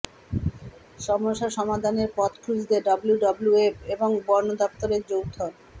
সমস্যা সমাধানের পথ খুঁজতে ডব্লুডব্লুএফ এবং বন দফতরের যৌথ